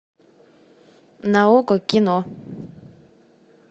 на окко кино